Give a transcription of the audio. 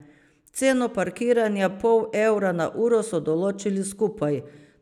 Ceno parkiranja pol evra na uro so določili skupaj.